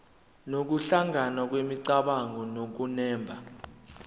nokuhlangana kwemicabango nokunemba